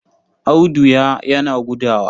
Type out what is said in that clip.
Audu ya yana gudawa.